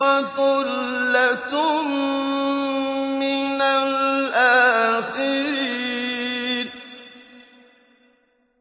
وَثُلَّةٌ مِّنَ الْآخِرِينَ